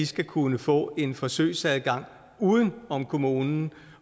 skal kunne få en forsøgsadgang uden om kommunen